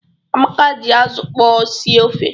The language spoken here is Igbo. Amaka ji azụ okpọ sie ofe.